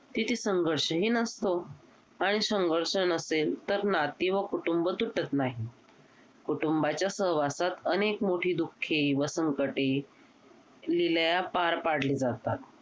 तिथे संघर्षही नसतो आणि संघर्ष नसेल तर नाती व कुटुंब तुटत नाही कुटुंबाच्या सहवासात अनेक मोठी दुःखे व संकटे विलया पार पाडली जातात.